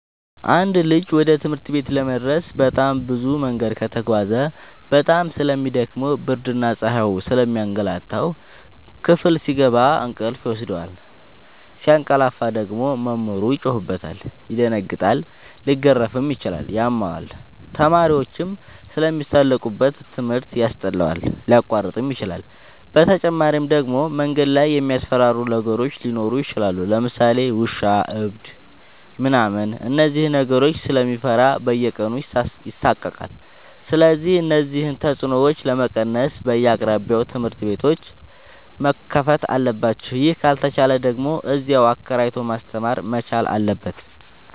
አንድ ልጅ ወደ ትምህርት ቤት ለመድረስ በጣም ብዙ መንገድ ከተጓዘ በጣም ስለሚ ደክመው ብርድና ፀሀዩ ስለሚያገላታው። ክፍል ሲገባ እንቅልፍ ይወስደዋል። ሲያቀላፍ ደግሞ መምህሩ ይጮህበታል ይደነግጣል ሊገረፍም ይችላል ያመዋል፣ ተማሪዎችም ስለሚሳለቁበት ትምህርት ያስጠላዋል፣ ሊያቋርጥም ይችላል። በተጨማሪ ደግሞ መንገድ ላይ የሚያስፈራሩ ነገሮች ሊኖሩ ይችላሉ ለምሳሌ ውሻ እብድ ምናምን እነዚህን ነገሮች ስለሚፈራ በየቀኑ ይሳቀቃል። ስለዚህ እነዚህን ተፅኖዎች ለመቀነስ በየአቅራቢያው ትምህርት ቤቶዎች መከፈት አለባቸው ይህ ካልተቻለ ደግሞ እዚያው አከራይቶ ማስተማር መቻል አለበት።